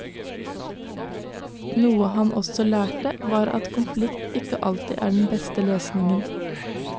Noe han også lærte var at konflikt ikke alltid er den beste løsningen.